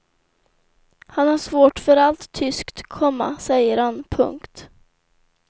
Han har svårt för allt tyskt, komma säger han. punkt